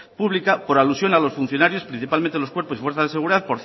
pública por alusión a los funcionarios principalmente los cuerpos y fuerzas de seguridad